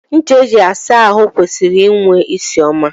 Ncha eji asa ahụ kwesịrị inwe ịsị ọma.